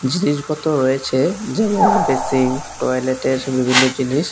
জিনিসপত্র রয়েছে যেমন বেসিন টয়লেটের বিভিন্ন জিনিস।